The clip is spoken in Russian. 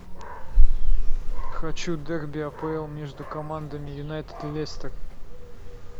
хочу дерби апл между командами юнайтед лестер